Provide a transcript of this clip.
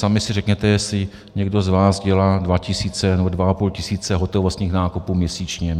Sami si řekněte, jestli někdo z vás dělá dva tisíce nebo dva a půl tisíce hotovostních nákupů měsíčně.